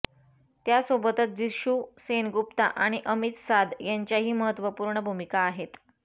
त्यासोबतच जिशू सेनगुप्ता आणि अमित साध यांच्याही महत्त्वपूर्ण भूमिका आहेत